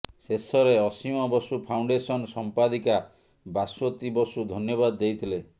ଶେଷରେ ଅସୀମ ବସୁ ଫାଉଣ୍ଡେସନ ସମ୍ପାଦିକା ଭାସ୍ୱତୀ ବସୁ ଧନ୍ୟବାଦ ଦେଇଥିଲେ